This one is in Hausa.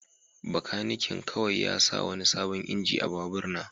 Bakanikin kawai ya sa wani sabon injin a babur na.